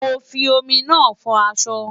Mo fi omi náà fọ aṣọ.